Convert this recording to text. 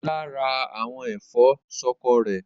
Ọlá rẹ àwọn ẹ̀fọ́ ṣọkọ rẹ̀.